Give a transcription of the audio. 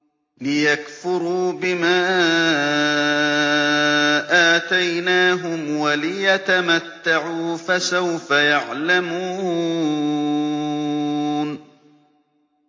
لِيَكْفُرُوا بِمَا آتَيْنَاهُمْ وَلِيَتَمَتَّعُوا ۖ فَسَوْفَ يَعْلَمُونَ